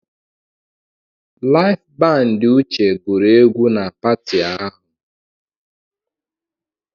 Laịf bandị Uche gụrụ egwu na pati ahụ.